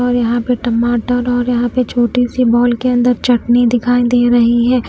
और यहां पे टमाटर और यहां पे छोटी सी बाउल के अंदर चटनी दिखाई दे रही है।